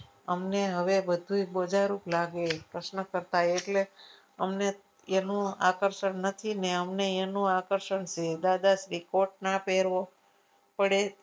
આમને હવે બધુંયે બુજા રૂપ લાગે પ્રશ્ન કરતા એ એટલે અમને એનું આકર્ષણ નથી ને અમને નું આકર્ષણ જોઈએ દાદાશ્રી કોટ ના પહેર્યો પડે